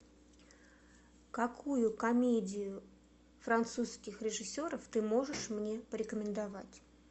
какую комедию французских режиссеров ты можешь мне порекомендовать